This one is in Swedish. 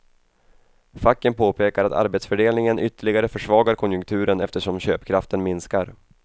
Facken påpekar att arbetsdelningen ytterligare försvagar konjunkturen eftersom köpkraften minskar.